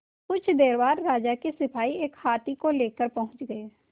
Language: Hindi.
कुछ देर बाद राजा के सिपाही एक हाथी लेकर पहुंच गए